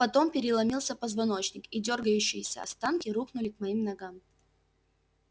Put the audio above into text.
потом переломился позвоночник и дёргающиеся останки рухнули к моим ногам